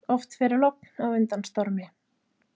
Oft fer logn á undan stormi.